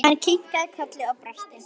Hann kinkaði kolli og brosti.